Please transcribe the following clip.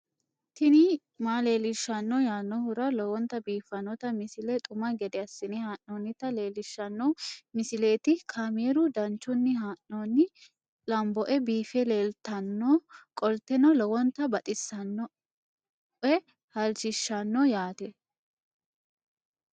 tini maa leelishshanno yaannohura lowonta biiffanota misile xuma gede assine haa'noonnita leellishshanno misileeti kaameru danchunni haa'noonni lamboe biiffe leeeltannoqolten lowonta baxissannoe halchishshanno yaate